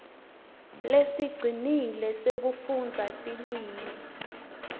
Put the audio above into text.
lesicinile sekufundza tilwimi